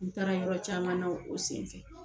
N taara yɔrɔ caman na o senfɛ.